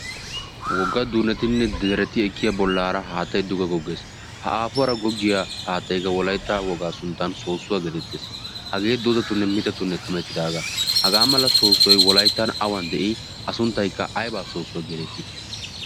wogga dunetinne dareti ekkiya bollaara haattaidduga goggees ha aafuwaara goggiya haattaiga wolaitta wogaa sunttan soossuwaa geetettees hagee doozatunne mitatunne kamettidaagaa hagaa mala soossuwai wolaittan awan de'i a sunttaikka aibaa soossuwaa geedettii